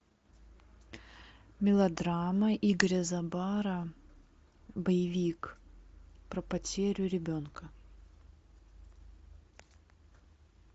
мелодрама игоря забара боевик про потерю ребенка